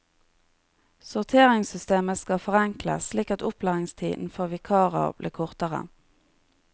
Sorteringssystemet skal forenkles, slik at opplæringstiden for vikarer blir kortere.